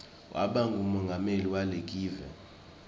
waba ngumongameli walekive